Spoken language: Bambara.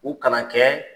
U kana kɛ